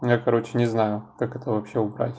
я короче не знаю как это вообще убрать